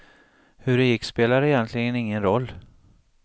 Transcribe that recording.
Hur det gick spelade egentligen ingen roll.